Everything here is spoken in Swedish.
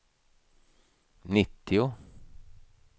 nittio